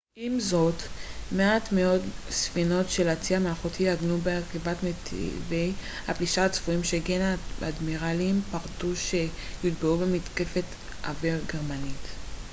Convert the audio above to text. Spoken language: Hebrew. עם זאת מעט מאוד ספינות של הצי המלכותי עגנו בקרבת נתיבי הפלישה הצפויים שכן האדמירלים פחדו שהן יוטבעו במתקפת אוויר גרמנית